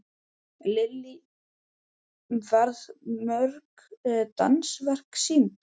Lillý, verða mörg dansverk sýnd?